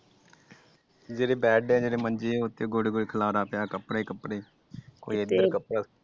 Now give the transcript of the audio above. ਜਿਹੜੇ ਬੈਡ ਮੰਜੇ ਗੋਡੇ ਗੋਡੇ ਖਲਾਰਾ ਪਿਆ ਕੱਪੜੇ ਕੱਪੜੇ ਕੋਈ ਕੀਤੇ ਕੱਪੜਾ ਸੁਟਿਆ ।